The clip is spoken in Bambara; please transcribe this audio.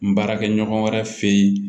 N baarakɛ ɲɔgɔn wɛrɛ fe yen